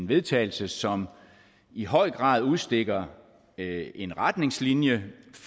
vedtagelse som i høj grad udstikker en retningslinje